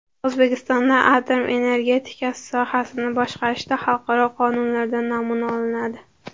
O‘zbekistonda atom energetikasi sohasini boshqarishda xalqaro qonunlardan namuna olinadi.